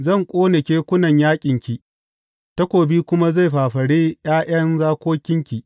Zan ƙone kekunan yaƙinki, takobi kuma zai fafare ’ya’yan zakokinki.